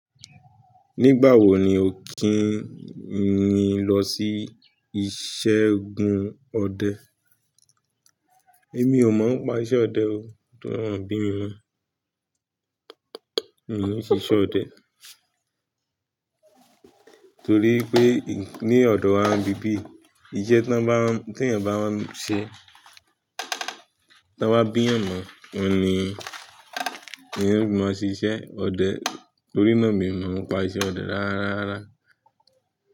Nígbà wo ni o kìí ń lọ sí iṣẹ́ gún ọdẹ? Èmi ò mọ̀ nípa iṣẹ́ ọdẹ o, torí wọ́n ò bí mi mọ. Mi ò ń ṣiṣẹ́ ọdẹ, torí pé ní ọ̀dọ̀ wa níbí yìí, iṣẹ́ tí wọ́n bá, tí ènìyàn bá bá ń ṣe, tí wọ́n bá bí ènìyàn mọ̀, òun ni yóò máa ṣiṣẹ́ ọdẹ. Torí náà mi ò mọ̀ ọ́n pa iṣẹ́ ọdẹ rárá.